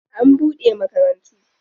An bude makarantu.